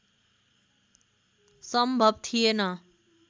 सम्भव थिएन